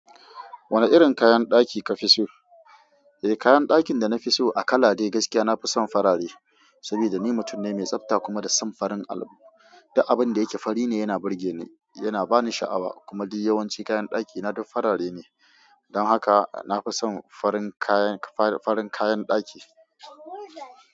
Wane irin kayan ɗaki kafi so? Eh, kayan ɗakin da na fi so a kala dai gaskiya nafi son farare. Saboda ni mutum ne mai tsafta kuma da son farin abu, duk abun da yake fari ne yana burge ni, yana bani sha'awa kuma duk yawanci kayan ɗaki na duk farare ne. Don haka nafi son farin kayan kayan ɗaki.